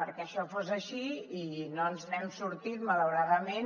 perquè això fos així i no ens n’hem sortit malauradament